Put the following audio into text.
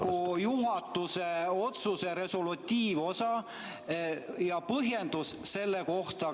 Milline on teie Riigikogu juhatuse otsuse resolutiivosa ja põhjendus selle kohta?